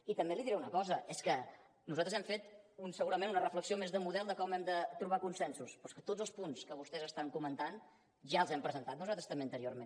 i també li diré una cosa és que nosaltres hem fet segurament una reflexió més de model de com hem de trobar consensos però és que tots els punts que vostès estan comentant ja els hem presentat nosaltres també anteriorment